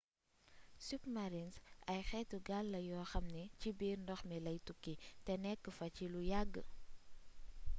submarines ay xéétu gaal la yoo xam ni ci biir ndox mi lay tukki té nékk fa ci lu yagg